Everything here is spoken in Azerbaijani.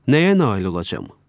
Nəyə nail olacam?